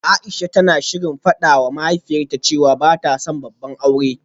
Aisha tana shirin fadawa mahaifiyarta cewa bata son babban aure